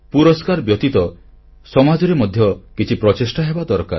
ପୁରସ୍କାର ବ୍ୟତୀତ ସମାଜରେ ମଧ୍ୟ କିଛି ପ୍ରଚେଷ୍ଟା ହେବା ଦରକାର